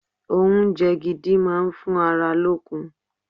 Oúnjẹ gidi máa ń fún ara lókun.